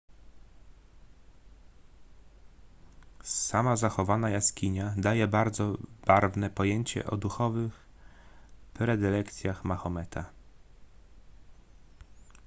sama zachowana jaskinia daje bardzo barwne pojęcie o duchowych predylekcjach mahometa